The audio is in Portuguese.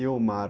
E o mar?